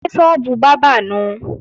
Ṣé sọ́ọ́bù bábà nùu?